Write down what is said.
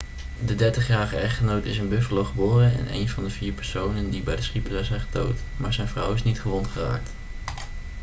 de 30-jarige echtgenoot is in buffalo geboren en een van de vier personen die bij de schietpartij zijn gedood maar zijn vrouw is niet gewond geraakt